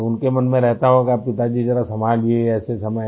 तो उनके मन में रहता होगा पिताजी जरा संभालिये ऐसे समय